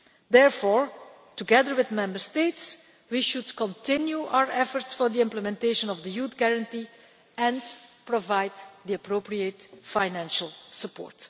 waste. Therefore, together with Member States, we should continue our efforts for the implementation of the Youth Guarantee and provide the appropriate financial support.